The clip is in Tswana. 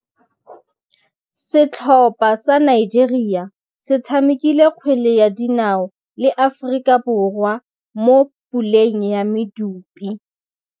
Setlhopha sa Nigeria se tshamekile kgwele ya dinaô le Aforika Borwa mo puleng ya medupe.